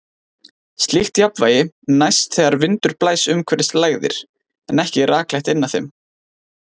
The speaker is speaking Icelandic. Slíkt jafnvægi næst þegar vindur blæs umhverfis lægðir, en ekki rakleitt inn að þeim.